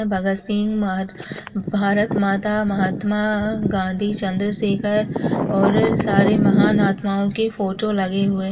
भगत सींह और भारत माता महात्मा गाँधी चंद्र शेखर और सारे महान आत्माओं के फोटो लगे हुए--